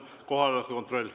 Kohaloleku kontroll.